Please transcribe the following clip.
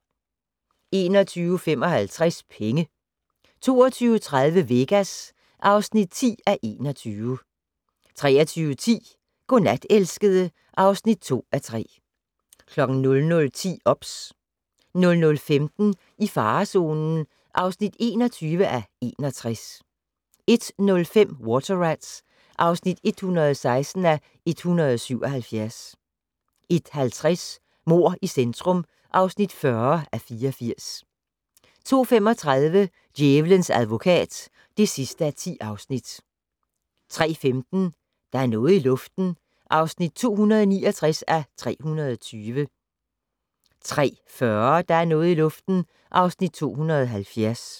21:55: Penge 22:30: Vegas (10:21) 23:10: Godnat, elskede (2:3) 00:10: OBS 00:15: I farezonen (21:61) 01:05: Water Rats (116:177) 01:50: Mord i centrum (40:84) 02:35: Djævelens advokat (10:10) 03:15: Der er noget i luften (269:320) 03:40: Der er noget i luften (270:320)